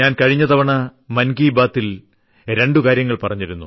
കഴിഞ്ഞ തവണ മൻ കി ബാതിൽ ഞാൻ രണ്ടു കാര്യങ്ങൾ പറഞ്ഞിരുന്നു